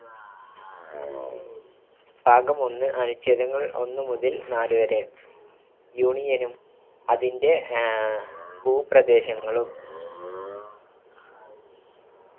ഭാഗം ഒന്ന് അനുഛേദങ്ങൾ ഒന്നുമുതൽ നാല് വരെ union ഉം അതിന്റെ ആഹ് ഭൂപ്രദേശങ്ങളും